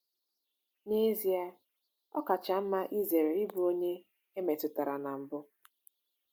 N’ezie, ọ kacha mma izere ịbụ onye e metụtara na mbụ.